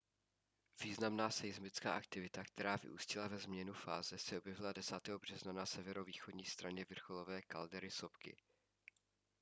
významná seismická aktivita která vyústila ve změnu fáze se objevila 10. března na severovýchodní straně vrcholové kaldery sopky